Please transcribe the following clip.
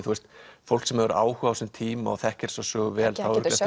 fólk sem hefur áhuga á þessum tíma og þekkir þessa sögu vel á eftir